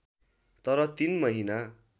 तर ३ महिना